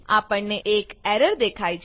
આપણને એક એરર દેખાય છે